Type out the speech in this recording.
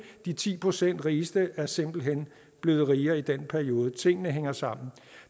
de ti procent rigeste er simpelt hen blevet rigere i den periode tingene hænger sammen